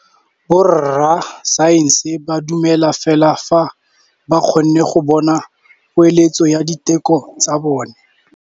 Borra saense ba dumela fela fa ba kgonne go bona poeletsô ya diteko tsa bone.